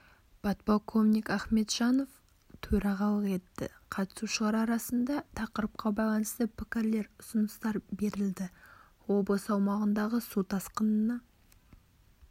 подполковник ахметжанов төрағалық етті қатысушылар арасында тақырыпқа байланысты пікірлер ұсыныстар берілді облыс аумағындағы су тасқынына